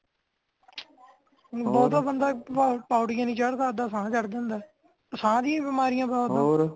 ਹੁਣ ਬਹੁਤਾ ਬੰਦਾ ਪੌੜੀਆਂ ਹੀ ਨਹੀਂ ਚੜਦਾ ਕੀ ਸਾਹ ਚੜ ਜਾਂਦਾ ਸਾਹ ਦੀ ਹੀ ਬਿਮਾਰੀਆਂ ਬਹੁਤ ਹੈ